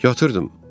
Yatırdım.